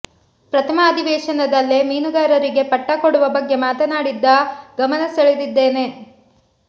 ಪ್ರಥಮ ಅಧಿವೇಶನದಲ್ಲೇ ಮೀನುಗಾರರಿಗೆ ಪಟ್ಟಾ ಕೊಡುವ ಬಗ್ಗೆ ಮಾತನಾಡಿ ಗಮನ ಸೆಳೆದಿದ್ದೇನೆ